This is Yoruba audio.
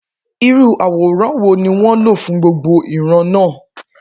Irú àwòrán wo ni wọ́n lò fún gbogbo ìran náà?